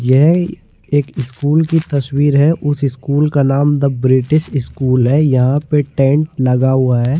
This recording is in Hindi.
यह एक स्कूल की तस्वीर है उस स्कूल का नाम द ब्रिटिश स्कूल है यहां पे टेंट लगा हुआ है।